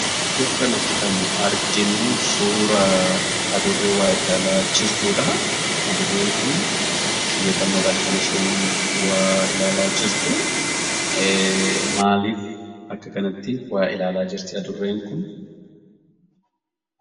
Iddoo kanatti kan nuti arginuu Adurree waa ilaalaa jirtuu dha. Adurreen kunis xiyyeeffannoon waa kan ilaalaa jirtuu dha. Maaliif akka kanatti waa ilaalaa jirti Adurreen kun?